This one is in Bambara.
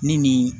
Ni nin